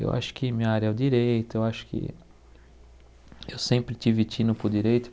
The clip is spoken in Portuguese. Eu acho que minha área é o direito, eu acho que eu sempre estive para o direito.